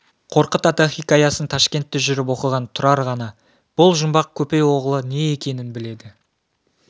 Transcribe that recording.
қорқыт-ата хикаясын ташкентте жүріп оқыған тұрар ғана бұл жұмбақ көпей оғлы не екенін біледі